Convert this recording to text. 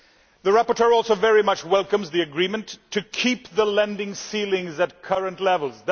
The rapporteur also very much welcomes the agreement to keep the lending ceilings at current levels.